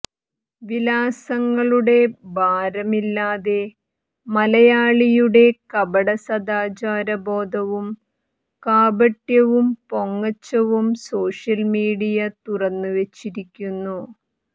വിലാസങ്ങളുടെ ഭാരമില്ലാതെ മലയാളിയുടെ കപട സദാചാര ബോധവും കാപട്യവും പൊങ്ങച്ചവും സോഷ്യല് മീഡിയ തുറന്നുവെച്ചിരിക്കുന്നു